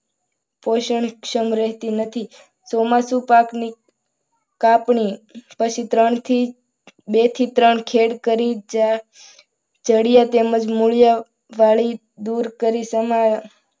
પોષણક્ષમ રહેતી નથી ચોમાસુ પાકની કાપણી પછી ત્રણથી બે થી ત્રણ ખેડ કરી જડિયા તેમજ મૂળિયા દૂર કરી તેમાં